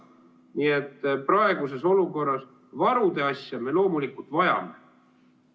Nii et praeguses olukorras seda varude asja me loomulikult vajame.